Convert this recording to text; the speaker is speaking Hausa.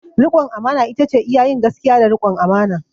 Rikon amana ita ce iya yin gaskiya da rikon amana.